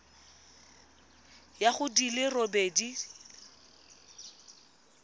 ya go di le robedi